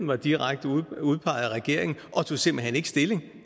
var direkte udpeget af regeringen og de tog simpelt hen ikke stilling